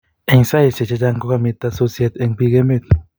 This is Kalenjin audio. eng saiseik chechang kokomita sosiet eng bik emeet